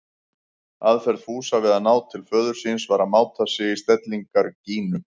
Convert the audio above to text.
Aðferð Fúsa við að ná til föður síns var að máta sig í stellingar Gínu.